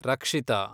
ರಕ್ಷಿತ